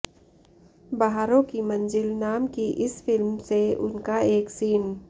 बहारों की मंज़िल नाम की इस फिल्म से उनका एक सीन